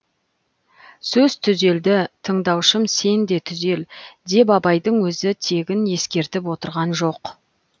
сөз түзелді тыңдаушым сен де түзел деп абайдың өзі тегін ескертіп отырған жоқ